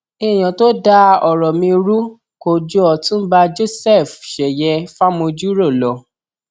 èèyàn tó da ọrọ mi rú kò ju ọtúnba joseph sèye fàmójúrò lọ